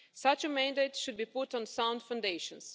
Such a mandate should be put on sound foundations.